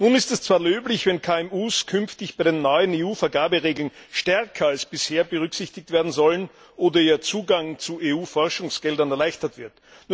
Nun ist es zwar löblich, wenn KMU künftig bei den neuen EU Vergaberegeln stärker als bisher berücksichtigt werden sollen oder ihr Zugang zu EU Forschungsgeldern erleichtert wird.